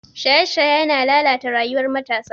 Shaye-shaye yana lalata rayuwar matasa.